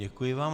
Děkuji vám.